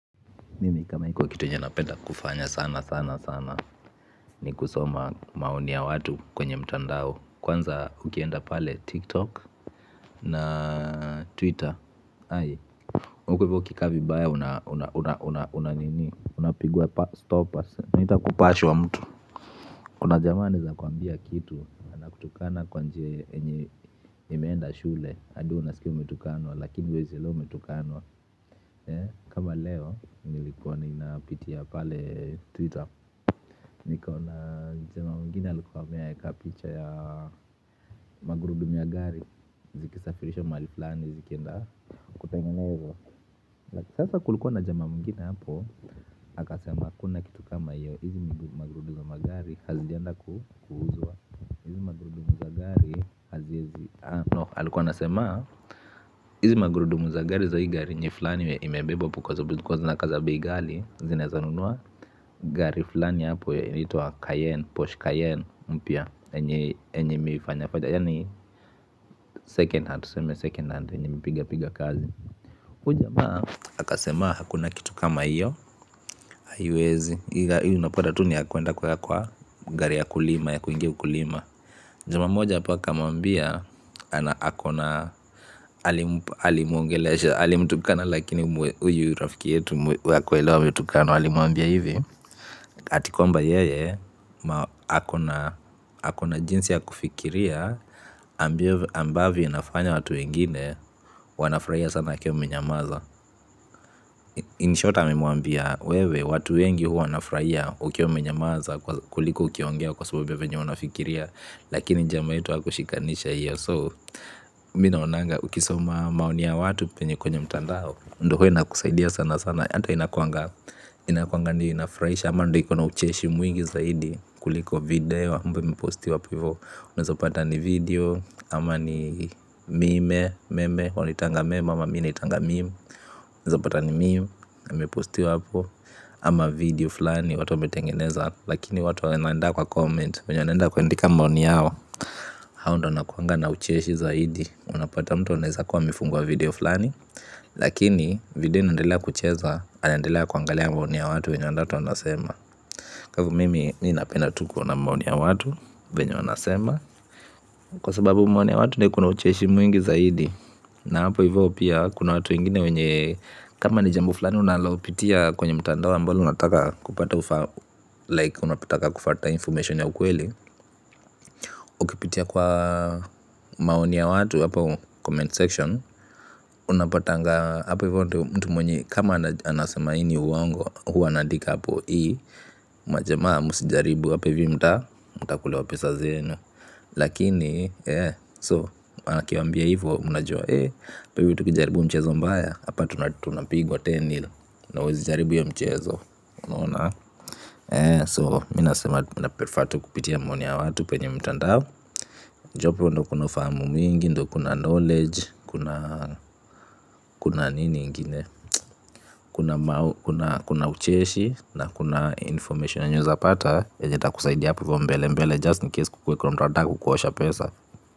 Mimi kama iko kitu yenye napenda kufanya sana sana sana ni kusoma maoni ya watu kwenye mtandao kwanza ukienda pale tiktok na twitter ai huko ivo ukikaa vibaya unapigwa stoppers inaitwa kupashwa mtu. Kuna jamaa aneza kuambia kitu anakutukana kwa njia yenye imeenda shule hadi wewe unasikia umetukanwa lakini huezi elewa umetukanwa. Kama leo, nilikuwa ninapitia pale Twitter. Nikaona jamaa mwinginei alikuwa ameweka picha ya magurudumu ya gari zikisafirishwa mahali flani, zikienda kutengenezwa. Sasa kulikuwa na jamaa mwinginehapo, aka sema hakuna kitu kama hio hizi magurudumu za gari hazijaenda kuuzwa hizi magurudumu za gari haziezi No, alikuwa anasema, hizi magurudumu za gari za hii gari yenye flani imebebwa hapo kwa sababu zilikuwa zinakaa za bei ghali, zinaeza nunua. Gari fulani hapo, inaitwa cayenne, porshe cayenne mpya, yenye imeifanya fanya yani second hand, tuseme second hand, yenye imepiga piga kazi huyu jamaa, aka sema, hakuna kitu kama hiyo haiwezi, hiyo unapata tu ni ya kuenda kuweka kwa gari ya kulima ya kuingia ukulima jamaa mmoja hapo aka muambia ali muongelesha, ali mtukana. Lakini huyu rafiki yetu hakuelewa ametukanwa alimuambia hivi ati kwamba yeye akona jinsi ya kufikiria ambavyo inafanya watu wengine wana furahia sana akiwa amenyamaza in short amemuambia wewe watu wengi wanafuhraia ukiwa umenyamaza kuliko ukiongea kwa sababu ya venye unafikiria lakini jamaa wetu hakushikanisha hiyo so mimi naonanga ukisoma maoni ya watu penye kwenye mtandao ndo huwa inakusaidia sana sana. Hata inakuanga, inakuanga ndo inafurahisha ama ndo ikona ucheshi mwingi zaidi kuliko video ambao imepostiwa hapo hivyo. Unaezapata ni video ama ni mime, meme. Wanaitanga meme ama mimi naitanga meme. Unaezopata ni meme imepostiwa hapo ama video fulani watu wametengeneza. Lakini watu wanaenda kwa comment wenye wanaenda kuandika maoni yao. Hao ndo wanakuanga na ucheshi zaidi. Unapata mtu anaeza kwa amefungua video flani. Lakini video inaendelea kucheza anaendelea kuangalia maoni ya watu wenye watu wanasema kwa hivi mimi ninapenda tu kuona maoni ya watu venye wanasema kwa sababu maoni ya watu ndo ikona ucheshi mwingi zaidi na hapo hivyo pia kuna watu wengine wenye kama ni jambo fulani unalopitia kwenye mtandao ambalo unataka kupata like unapotaka kufata information ya ukweli ukipitia kwa maoni ya watu hapo comment section unapatanga hapo hivyo ndo mtu mwenye kama anasema hii ni uwongo huwa anaandika hapo hii majamaa msijaribu hapa hivi mta mtakulwa pesa zenu lakini eee so aki waambia hivo mnajua eee hapa hivi tukijaribu mchezo mbaya hapa tunapigwa kumi nil na huwezi jaribu hiyo mchezo unaona so mimi nasema naprefer tu kupitia maoni ya watu penye mtandao juu hapo ndo kuna ufahamu mingi ndo kuna knowledge kuna nini ingine kuna kuna ucheshi na kuna information yenye unaeza pata, yenye itakusaidia hapo ivo mbele mbele just in case kukuwe kuna mtu anataka kukuosha pesa.